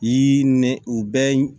I ni u bɛɛ